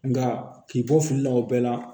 Nka k'i bɔ fili la o bɛɛ la